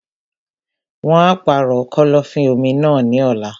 Wọn á pàrọ̀ kọ́lọ́fín-omi náà ní ọ̀la.